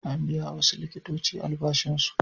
An biya wasu likitoci albashinsu.